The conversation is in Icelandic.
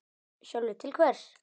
Sölvi: Til hvers?